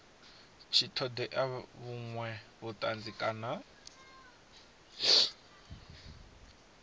tshi ṱoḓea vhuṅwe vhuṱanzi kana